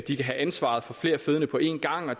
de kan have ansvaret for flere fødende på en gang og